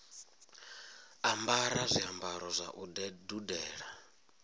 ambara zwiambaro zwa u dudela